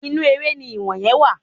Inú eré ni iwoye wà